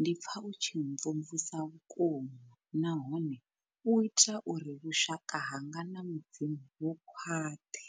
ndi pfa u tshi mvumvusa vhukuma nahone u ita uri vhushaka hanga na mudzimu vhu khwaṱhe.